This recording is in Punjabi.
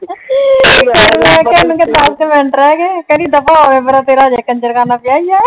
ਤੇ ਮੈਂ ਕਿਹਾ ਉਹਨੂੰ ਕਹਿ ਦਸ ਮਿੰਟ ਰਹਿ ਗਏ। ਕਹਿੰਦੀ ਦਫ਼ਾ ਹੋ ਪਰੇ ਤੇਰਾ ਅਜੇ ਕੰਜ਼ਰਖਾਨਾ ਪਿਆ ਈ ਆ।